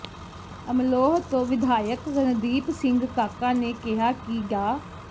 ਅਮਲੋਹ ਤੋਂ ਵਿਧਾਇਕ ਰਣਦੀਪ ਸਿੰਘ ਕਾਕਾ ਨੇ ਕਿਹਾ ਕਿ ਡਾ